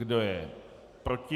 Kdo je proti?